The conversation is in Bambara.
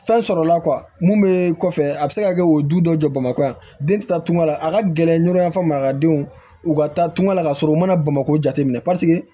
Fɛn sɔrɔla la mun be kɔfɛ a be se ka kɛ o du dɔ jɔ bamakɔ yan den ti taa tunga la a ka gɛlɛn ɲɔrɔyanfa marakadenw u ka taa tungan la ka sɔrɔ u mana bamakɔ jateminɛ